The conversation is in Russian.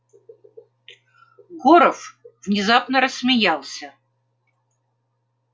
горов внезапно рассмеялся